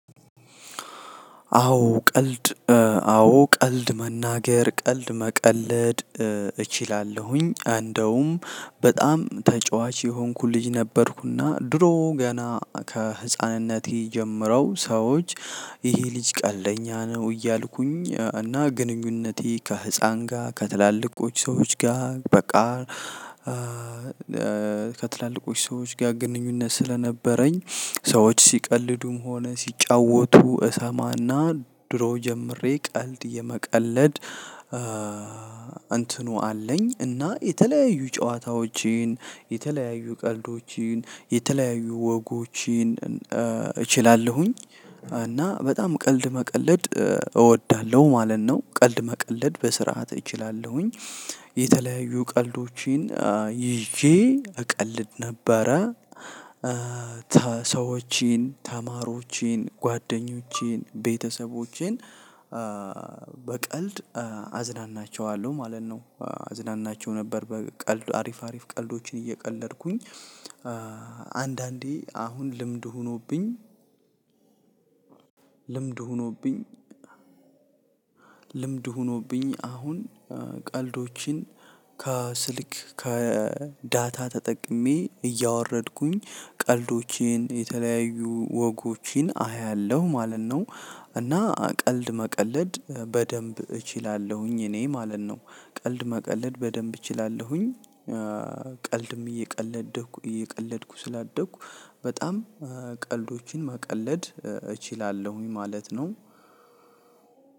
አዎ ቀልድ አዎ ቀልድ መናገር ቀልድ መቀለድ እችላለሁኝ እንደውም በጣም ተጫዋች የሆንኩት ልጅ ነበርኩና ድሮ ገና ከህፃንነቴ ጀምረው ሰዎች ይህ ልጅ ቀልደኛ ነው እያልኩኝ እና ግንኙነቴ ከህፃን ጋር ከትላልቆች ሰዎች ጋር በቃ ከትላልቆች ሰዎች ጋር ግንኙነት ስለነበረኝ ሰዎች ሲቀልዱም ሆነ ሲጫወቱ እሰማና ድሮ ጀምሬ ቀልድ የመቀለድ እንትኑ አለኝ እና የተለያዩ ጨዋታዎችን የተለያዩ ቀልዶችን የተለያዩ ወጎችን እችላለሁኝ እና በጣም ቀልድ መቀለድ እወዳለሁ ማለት ነው ቀልድ መቀለድ በስርዓት እችላለሁኝ። የተለያዩ ቀልዶችን ይዤ እቀልድ ነበር ሰዎችን ተማሪዎችን ጓደኞቼን ቤተሰቦቼን በቀልድ አዝናናቸዋለሁ ማለት ነው። አዝናናቸው ነበር በቀልድ አሪፍ አሪፍ ቀልዶችን እየቀለድኩኝ አንዳንዴ አሁን ልምድ ሆኖብኝ ልምድ ሆኖብኝ አሁን ቀልዶችን ከስልክ ከዳታ ተጠቅሜ እያወረድኩኝ ቀልዶችን የተለያዩ ወጎችን አያለሁ ማለት ነው። እና ቀልድ መቀለድ በደንብ እችላለሁኝ እኔ ማለት ነው። ቀልድ መቀለድ በደንብ እችላለሁኝ። ቀልድም እየቀለደኩ እየቀለድኩ ስላደኩ በጣም ቀልዶችን መቀለድ እችላለሁኝ ማለት ነው።